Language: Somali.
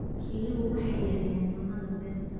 Riyuhu waxay yareeyaan cunnada beerta.